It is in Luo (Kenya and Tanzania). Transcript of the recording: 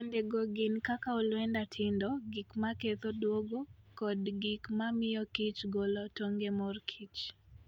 Kuondego gin kakaolwenda tindo, gik maketho duogo kod gik ma miyo kich golo tong' e mor kich.